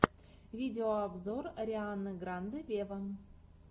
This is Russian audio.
видеообзор арианы гранде вево